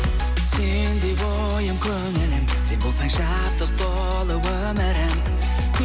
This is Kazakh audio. сенде ойым көңілім сен болсаң шаттық толы өмірім